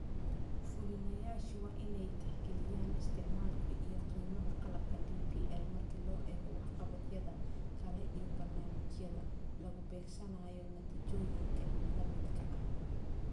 Fulinayaashu waa inay tixgeliyaan isticmaalka iyo qiimaha qalabka DPL marka loo eego waxqabadyada kale iyo barnaamijyada lagu beegsanayo natiijooyinka la midka ah.